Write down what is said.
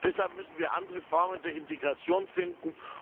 Deshalb müssen wir andere Formen der Integration finden.